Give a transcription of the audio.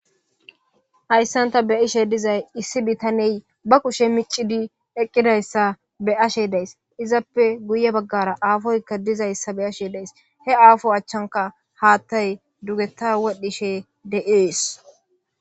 Hayssanta be ishe dizay issi bitaney ba kushe miccidi eqqidayssa be ashe days izappe guye baggara aafoyka dizayssa be ashe days he aafo achchanka haattay dugeta wodhishe de'ees.